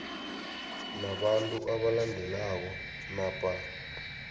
nabantu abalandelako napa